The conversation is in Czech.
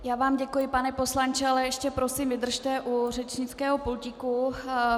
Já vám děkuji, pane poslanče, ale ještě prosím vydržte u řečnického pultíku.